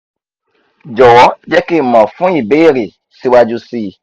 jọ̀wọ́ jẹ́ kí n mọ̀ fún ibeere síwájú sí i